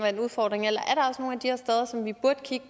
er en udfordring eller